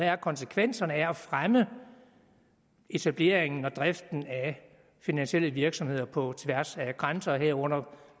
er konsekvenserne af at fremme etableringen og driften af finansielle virksomheder på tværs af grænser herunder